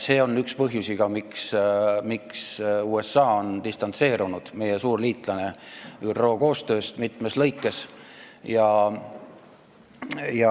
See on ka üks põhjusi, miks meie suur liitlane USA on distantseerunud ÜRO koostööst mitmes aspektis.